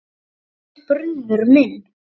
Þú ert brunnur minn.